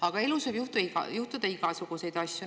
Aga elus võib juhtuda igasuguseid asju.